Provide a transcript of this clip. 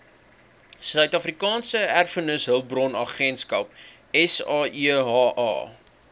suidafrikaanse erfenishulpbronagentskap saeha